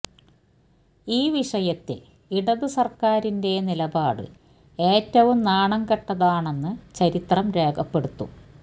ഈ വിഷയത്തില് ഇടത് സര്ക്കാരിന്റെ നിലപാട് ഏറ്റവും നാണംകെട്ടതാണെന്ന് ചരിത്രം രേഖപ്പെടുത്തും